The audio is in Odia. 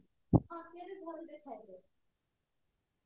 ହଁ ସିଏ ବି ଭଲ ଦେଖାଯାଏ